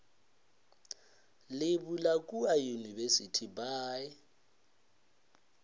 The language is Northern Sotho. le bula kua university by